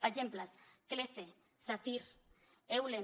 exemples clece sacyr eulen